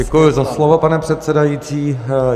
Děkuji za slovo, pane předsedající.